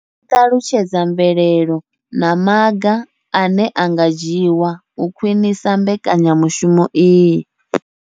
I ṱalutshedza mvelelo na maga ane a nga dzhiwa u khwinisa mbekanya mushumo iyi.